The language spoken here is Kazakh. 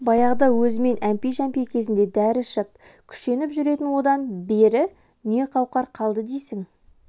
баяғыда өзімен әмпей-жәмпей кезінде дәрі ішіп күшеніп жүретін одан бері не қауқар қалды дейсің